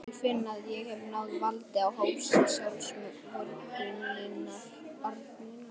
Ég finn að ég hef náð valdi á hálsi sjálfsvorkunnarinnar.